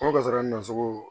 N ko gasiwa nin na sugu